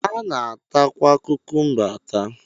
A na-atakwa kukumba ata